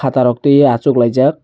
jutaa rok tui oi achuk laijak.